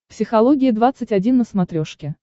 психология двадцать один на смотрешке